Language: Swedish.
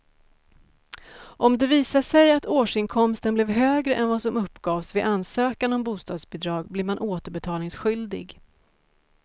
Om det visar sig att årsinkomsten blev högre än vad som uppgavs vid ansökan om bostadsbidrag blir man återbetalningsskyldig.